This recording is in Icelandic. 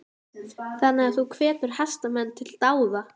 Þannig að þú hvetur hestamenn til dáða?